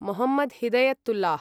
Mohammad Hidayatullah